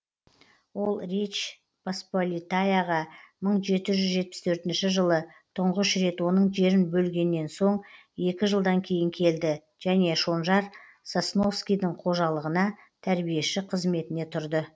ол речь посполитаяға мың жеті жүз жетпіс төртінші жылы тұңғыш рет оның жерін бөлгеннен соң екі жылдан кейін келді және шонжар сосновскийдің қожалығына тәрбиеші қызметіне тұрды